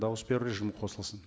дауыс беру режимі қосылсын